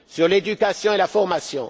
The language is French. Pour l'éducation et la formation?